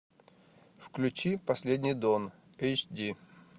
включи последний дон эйч ди